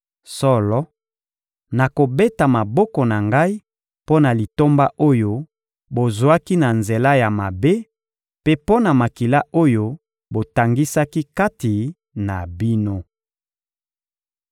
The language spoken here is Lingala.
Solo, nakobeta maboko na Ngai mpo na litomba oyo bozwaki na nzela ya mabe mpe mpo na makila oyo botangisaki kati na bino.